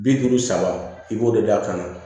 Bi duuru saba i b'o de da a kan